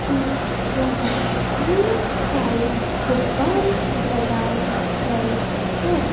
कि यहां ढेर सारे गुब्बारे लगाए गए हैं।